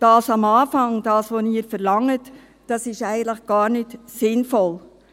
Das am Anfang, also das, was Sie verlangen, ist eigentlich gar nicht sinnvoll.